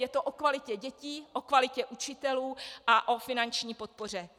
Je to o kvalitě dětí, o kvalitě učitelů a o finanční podpoře.